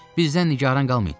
Bizdən nigaran qalmayın.